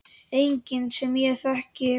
Enginn sem ég þekki.